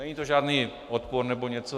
Není to žádný odpor nebo něco.